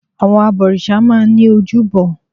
Àwọn abọ̀rìṣà máa n ní ojúbọ